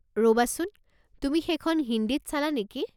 ৰবাচোন, তুমি সেইখন হিন্দীত চালা নেকি?